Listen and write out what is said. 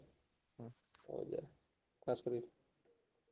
ହୁଁ ହଉ ଯାଅ ।